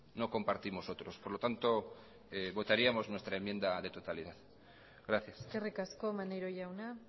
no compartimos otros por lo tanto votaríamos nuestra enmienda de totalidad gracias eskerrik asko maneiro jauna